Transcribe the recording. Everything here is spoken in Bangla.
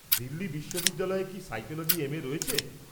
দিল্লী বিশ্ববিদ্যালয়ে কি সাইকোলজি এম.এ রয়েছে?